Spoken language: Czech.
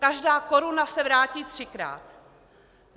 Každá koruna se vrátí třikrát.